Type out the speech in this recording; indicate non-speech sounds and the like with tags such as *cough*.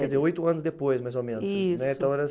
Quer dizer, oito anos depois, mais ou menos. Isso. Né *unintelligible*